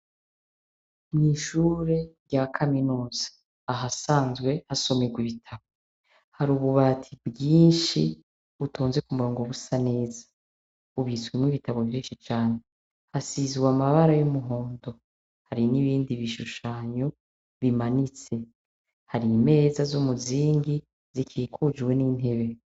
Mw'ishure rya kaminuza ahasanzwe hasomerwa ibitabu hari ububati bwinshi butonze ku murongo busa neza, bubitswemwo ibitabu vyinshi cane. Hasizwe amabara y'umuhondo. Hari n'ibindi bishushanyo bimanitse, hari imeza z'umuzingi zikikujwe n'intebe.